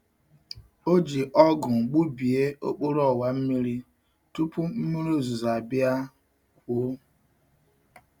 O ji ogu gbubie okporo owa mmiri tupu mmiri ozuzo abia kwuo.